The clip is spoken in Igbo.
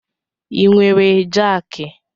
I nwere jaaki?